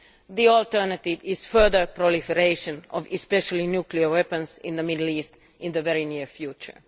The alternative is further proliferation, especially of nuclear weapons, in the Middle East in the very near future.